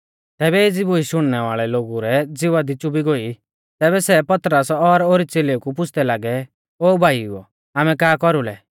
तैबै एज़ी बूश शुणनै वाल़ै लोगु रै ज़िवा दी च़ुबी गोई तैबै सै पतरस और ओरी च़ेलेऊ कु पुछ़दै लागै ओ भाईओ आमै का कौरुलै